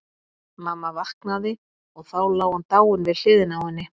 Mamma vaknaði og þá lá hann dáinn við hliðina á henni.